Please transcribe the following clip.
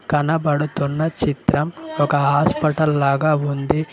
కనపడుతున్న చిత్రం ఒక హాస్పటల్ లాగా ఉంది.